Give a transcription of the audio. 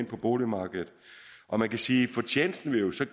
ind på boligmarkedet og man kan sige at fortjenesten jo så